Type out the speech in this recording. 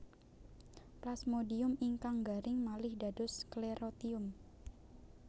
Plasmodium ingkang garing malih dados sklerotium